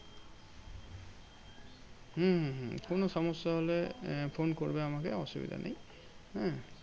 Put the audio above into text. হম হম হম কোনো সমস্যা হলে আহ ফোন করবে আমাকে অসুবিধা নেই, হ্যাঁ?